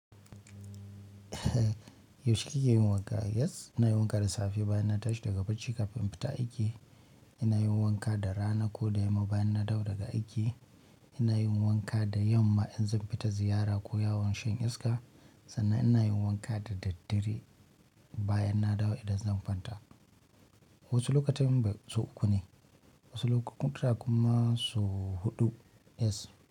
Yaushe kike yin wanka? Yes, ina yin wanka da safe bayan na tashi daga bacci kafin fita aiki. Ina yin wanka da rana ko da yamma bayan na dawo daga aiki. Ina yin wanka da yamma in zan fita ziyara ko yawon shan iska. Sannan ina yin wanka da daddare bayan na dawo idan zan fanta. Wasu lokutan sau uku ne, wasu lokutan kuma sau huɗu, yes.